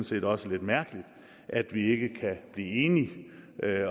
set også lidt mærkeligt at vi ikke kan blive enige